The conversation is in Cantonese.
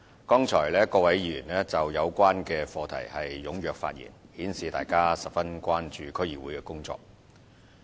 剛才各位議員就有關課題踴躍發言，顯示大家十分關注區議會的工作。